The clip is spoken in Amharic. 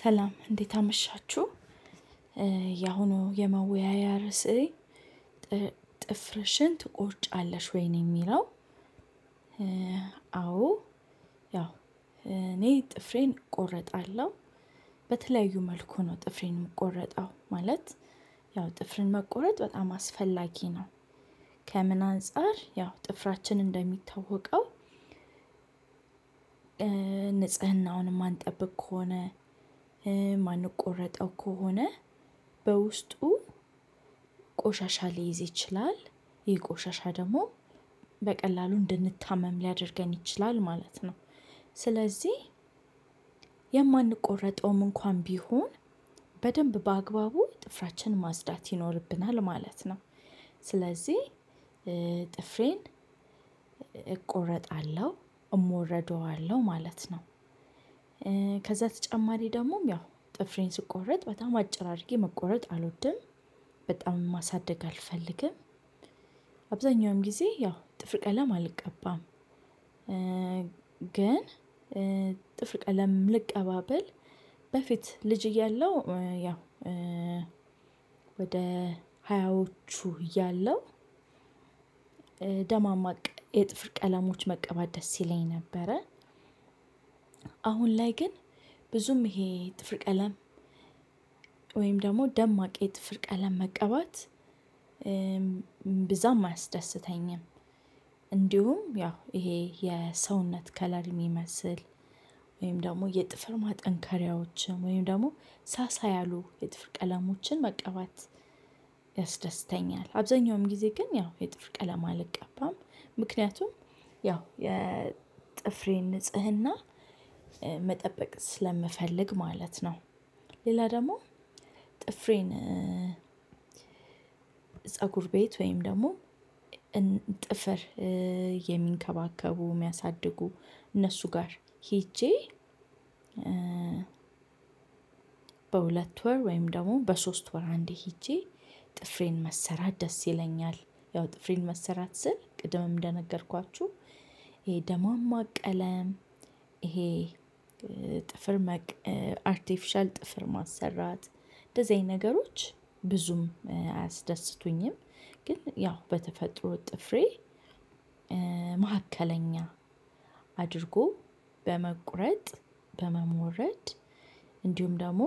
ሰላም እንዴት አመሻችሁ ያሁኑ የመወያያ ርዕሴ ጥፍርሽን ትቆርጫለሽ ወይ ነው የሚለው? አዎ ያው እኔ ጥፍሬን እቆረጣለሁ በተለያዩ መልኩ ነው ጥፍሬን እምቆረጠው ማለት ያው ጥፍርን መቆረጥ በጣም አስፈላጊ ነው። ከምን አንፃር ያው ጥፍራችን እንደሚታወቀው። ንጽህናውን እማንጠብቅ ከሆነ እማንቆረጠው ከሆነ በውስጡ ቆሻሻ ሊይዝ ይችላል ይህ ቆሻሻ ደግሞ በቀላሉ እንድንታመም ሊያደርገን ይችላል ማለት ነው። ስለዚህ የማንቆረጠውም እንኳን ቢሆን በደንብ በአግባቡ ጥፍራችን ማጽዳት ይኖርብናል ማለት ነው። ስለዚህ ጥፍሬን እቆረጣለሁ፣ እሞረደዋለሁ ማለት ነው። እ ከዛ ተጨማሪ ደሞም ያው ጥፍሬን ስቆረጥ በጣም አጭር አርጌ መቆረጥ አልወድም። በጣምም ማሳደግ አልፈልግም። አብዛኛውን ጊዜ ያው ጥፍር ቀለም አልቀባም። ግን ጥፍር ቀለም ልቀባ ብል በፊት ልጅ እያለው ያው ወደ ሀያዎቹ እያለው ደማማቅ የጥፍር ቀለሞች መቀባት ደስ ይለኝ ነበረ። አሁን ላይ ግን ብዙም ይሄ ጥፍር ቀለም ወይም ደግሞ ደማቅ የጥፍር ቀለም መቀባት እምብዛም አያስደስተኝም። እንዲሁም ያው ይሄ የሰውነት ከለር እሚመስል ወይም ደግሞ የጥፍር ማጠንከሪያዎችም ወይም ደግሞ ሳሳ ያሉ የጥፍር ቀለሞችን መቀባት ያስደስተኛል። አብዛኛውም ጊዜ ግን ያው የጥፍር ቀለም አልቀባም ምክንያቱም ያው የጥፍሬን ንጽህና መጠበቅ ስለምፈልግ ማለት ነው። ሌላ ደግሞ ጥፍሬን ፀጉር ቤት ወይም ደግሞ ጥፍር የሚንከባከቡ የሚያሳድጉ እነሱ ጋር ሄጄ። በሁለት ወር ወይም ደግሞ በሶስት ወር አንዴ ሄጄ ጥፍሬን መሰራት ደስ ይለኛል። ያው ጥፍሬን መሰራት ስል ቅድምም እንደነገርኳችሁ ይሄ ደሟቅ ቀለም ይሄ ጥፍር አርቲፊሻል ጥፍር ማሰራት እንደዚህ አይነት ነገሮች ብዙም አያስደስቱኝም። ግን ያው በተፈጥሮ ጥፍሬ መሀከለኛ አድርጎ በመቁረጥ በመሞረድ እንዲሁም ደግሞ